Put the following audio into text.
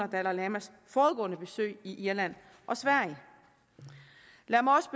dalai lamas forudgående besøg i irland og sverige lad mig også